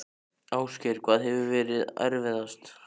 Ásgeir: Hvað hefur verið erfiðast?